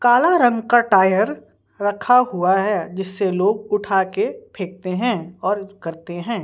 काला रंग का टायर रखा हुआ है जिससे लोग उठा के फेंकते हैं और करते हैं।